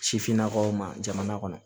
Sifinnakaw ma jamana kɔnɔ